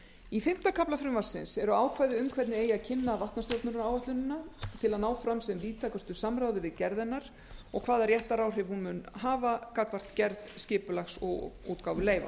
í fimmta kafla frumvarpsins eru ákvæði um hvernig kynna eigi vatnastjórnunaráætlunina til að ná fram sem víðtækustu samráði við gerð hennar og hvaða réttaráhrif hún mun hafa gagnvart gerð skipulags og útgáfu leyfa